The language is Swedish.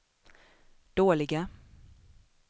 dåliga